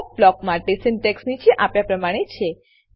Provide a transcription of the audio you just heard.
check block માટે syntax નીચે આપ્યા પ્રમાણે છે